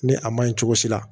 Ni a man ɲi cogo si la